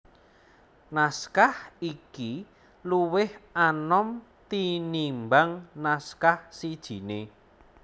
Naskah iki luwih anom tinimbang naskah sijiné